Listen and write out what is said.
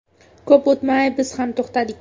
Ko‘p o‘tmay biz ham to‘xtadik.